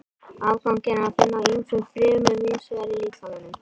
Afganginn er að finna í ýmsum frumum víðs vegar í líkamanum.